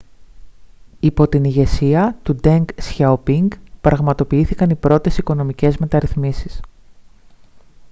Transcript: yπό την ηγεσία του ντενγκ σιαοπίνγκ πραγματοποιήθηκαν oι πρώτες οικονομικές μεταρρυθμίσεις